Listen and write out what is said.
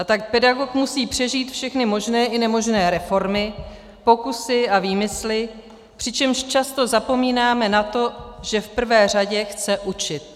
A tak pedagog musí přežít všechny možné i nemožné reformy, pokusy a výmysly, přičemž často zapomínáme na to, že v prvé řadě chce učit.